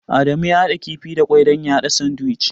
Adamu ya haɗa kifin gwangwani da ƙwai don yayi sandiwic.